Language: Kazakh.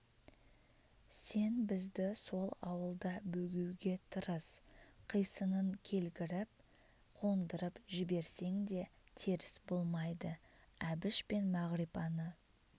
сен бізді сол ауылда бөгеуге тырыс қисынын келгіріп қондырып жіберсең де теріс болмайды әбіш пен мағрипаны